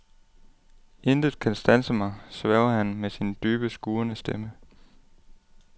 Intet kan standse mig, sværger han med sin dybe, skurrende stemme.